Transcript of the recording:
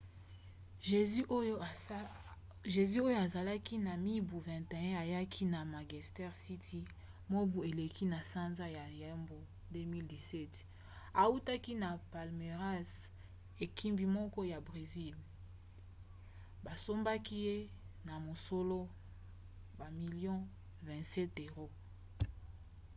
jesus oyo azalaki na mibu 21 ayaki na manchester city mobu eleki na sanza ya yambo 2017 autaki na palmeiras ekipi moko ya bresil basombaki ye na mosolo bamilio 27£